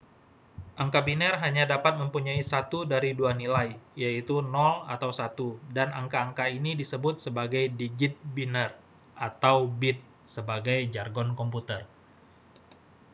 angka biner hanya dapat mempunyai satu dari dua nilai yaitu 0 atau 1 dan angka-angka ini disebut sebagai digit biner atau bit sebagai jargon komputer